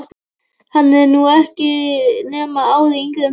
Hann er nú ekki nema ári yngri en þið.